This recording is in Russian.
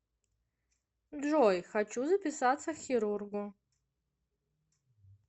джой хочу записаться к хирургу